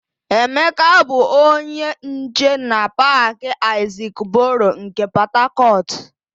Emeka bụ onye nche na Paakị Aịzik Boro nke Pọtakọtụ.ụ